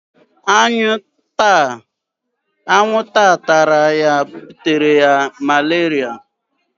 Anwụ nta tara ya butere ya maleria